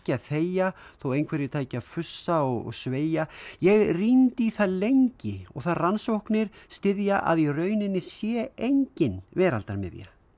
þegja þó einhverjir tækju að fussa og sveia ég rýndi í það lengi og það rannsóknir styðja að í rauninni sé engin veraldarmiðja